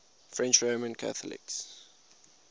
french roman catholics